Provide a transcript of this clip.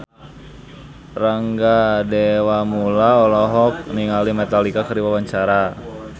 Rangga Dewamoela olohok ningali Metallica keur diwawancara